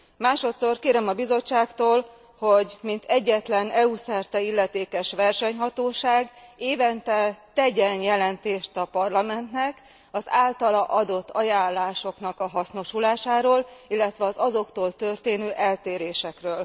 Másodszor, kérem a Bizottságtól, hogy mint egyetlen EU szerte illetékes versenyhatóság, évente tegyen jelentést a Parlamentnek az általa adott ajánlásoknak a hasznosulásáról, illetve az azoktól történő eltérésekről.